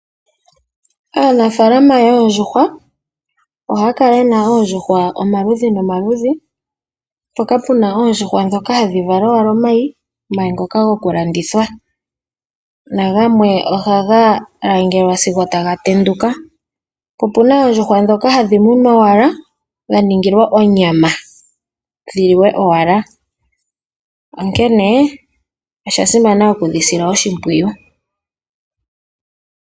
Aanafaalama yoondjuhwa ohaya kala yena oondjuhwa omaludhi nomaludhi. Mpoka puna oondjuhwa ndhoka hadhi vala owala omayi, omayi ngoka goku landithwa nagamwe ohaga langelwa sigo taga tenduka. Po opuna oondjuhwa ndhoka hadhi munwa owala dha ningilwa onyama dhi liwe owala. Onkene osha simana wudhi sile oshimpwiyu.